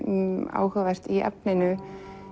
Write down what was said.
áhugavert